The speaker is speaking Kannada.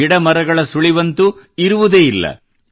ಗಿಡಮರಗಳ ಸುಳಿವಂತೂ ಇರುವುದೇ ಇಲ್ಲ